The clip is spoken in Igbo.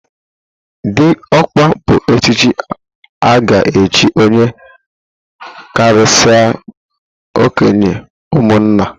Dịọkpa bụ echichi a ga-echi onye karịsịrị okenye n'ụmụnna.